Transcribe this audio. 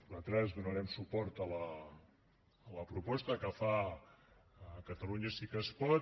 nosaltres donarem suport a la proposta que fa catalunya sí que es pot